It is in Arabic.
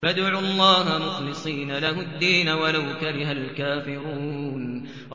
فَادْعُوا اللَّهَ مُخْلِصِينَ لَهُ الدِّينَ وَلَوْ كَرِهَ الْكَافِرُونَ